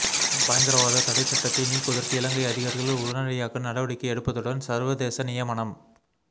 பயங்கரவாத தடைச்சட்டத்தை நீக்குவதற்கு இலங்கை அதிகாரிகள் உடனடியாக நடவடிக்கை எடுப்பதுடன் சர்வதேச நியமங்